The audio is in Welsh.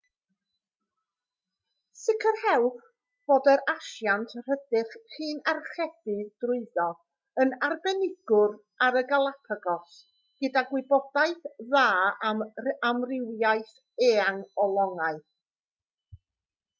sicrhewch fod yr asiant rydych chi'n archebu drwyddo yn arbenigwr ar y galapagos gyda gwybodaeth dda am amrywiaeth eang o longau